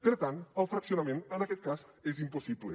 per tant el fraccionament en aquest cas és impossible